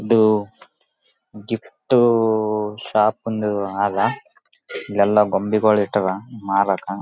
ಇದು gift shop ಅಂದು ಅಲ್ಲ ಇಲ್ಲೆಲ್ಲಾ ಗೊಂಬಿಗಳು ಇಟ್ಟವೇ ಮಾರಕ.